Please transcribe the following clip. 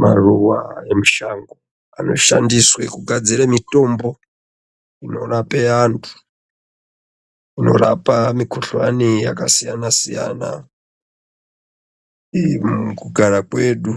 Maruwa emushango anoshandiswe kugadzire mitombo inorape anthu inorapa mikhuhlani akasiyana siyana mukugara kwedu